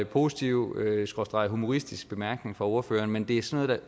positiv skråstreg humoristisk bemærkning fra ordføreren men det er sådan